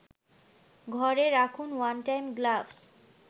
ঘরে রাখুন one time gloves